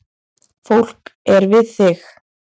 Fólk er við þig